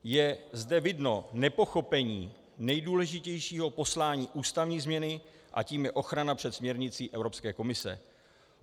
Je zde vidno nepochopení nejdůležitějšího poslání ústavní změny a tím je ochrana před směrnicí Evropské komise.